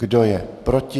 Kdo je proti?